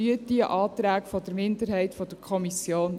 Unterstützen Sie diese Anträge der Minderheit der Kommission.